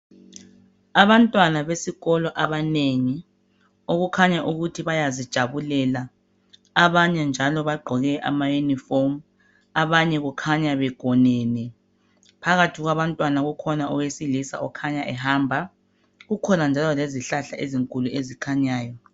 Abantwana besikolo abanengi , okukhanya ukuthi bayazijabulela .Abanye njalo bagqoke ama uniform ,abanye kukhanya begonene .Phakathi kwabantwana kukhona owesilisa okhanya ehamba .Kukhona njalo lezihlahla ezinkulu ezikhanyayo.